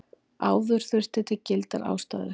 Áður þurfti til gildar ástæður.